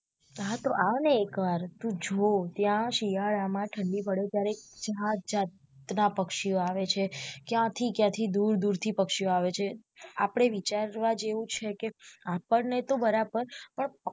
હા તો આવ ને એક વાર તું જો ત્યાં શિયાળા માં ઠંડી પડે ત્યારે જાત જાતના પક્ષીઓ આવે છે કયા થી કયા થી દૂર દૂર થી પક્ષીઓ આવે છે આપડે વિચારવા જેવુ છે કે આપણને તો બરાબર